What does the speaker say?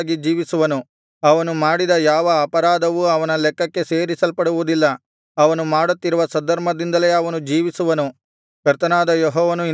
ಅವನು ಮಾಡಿದ ಯಾವ ಅಪರಾಧವು ಅವನ ಲೆಕ್ಕಕ್ಕೆ ಸೇರಿಸಲ್ಪಡುವುದಿಲ್ಲ ಅವನು ಮಾಡುತ್ತಿರುವ ಸದ್ಧರ್ಮದಿಂದಲೇ ಅವನು ಜೀವಿಸುವನು